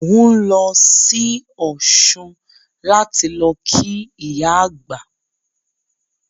Mò ń lọ sí Ọ̀ṣun láti lọ kí ìyá àgbà